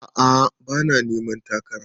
A'a bana neman takara